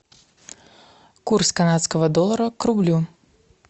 курс канадского доллара к рублю